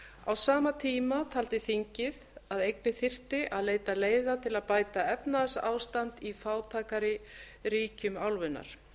á sama tíma taldi þingið að einnig þyrfti að leita leiða til að bæta efnahagsástand í fátækari ríkjum álfunnar